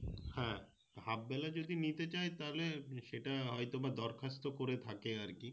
হ্যাঁ Half বেলা যদি নিতে চায় তাহলে সেটা হয়তো বা দরখাস্ত করে থাকে আরকি